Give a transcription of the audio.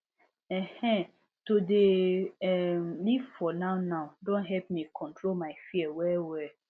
ehn[um]to dey um live for nownow don help me control my fear wellwell